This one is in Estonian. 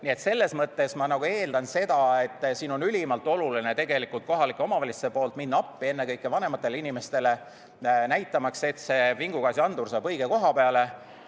Nii et selles mõttes on siin ülimalt oluline kohalikel omavalitsustel minna appi ennekõike vanematele inimestele, et see vingugaasiandur saaks õige koha peale.